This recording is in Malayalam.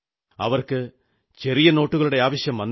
അവർക്ക് ചെറിയ നോട്ടുകളുടെ ആവശ്യം വന്നില്ല